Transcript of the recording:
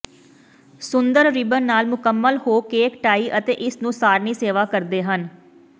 ਸੁੰਦਰ ribbon ਨਾਲ ਮੁਕੰਮਲ ਹੋ ਕੇਕ ਟਾਈ ਅਤੇ ਇਸ ਨੂੰ ਸਾਰਣੀ ਸੇਵਾ ਕਰਦੇ ਹਨ